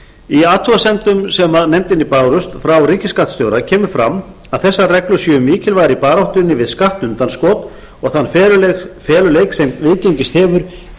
í athugasemdum sem nefndinni bárust frá ríkisskattstjóra kemur fram að þessar reglur séu mikilvægar í baráttunni við skattundanskot og þann feluleik sem viðgengist hefur í